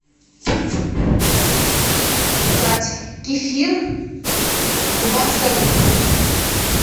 заказать кефир кубанская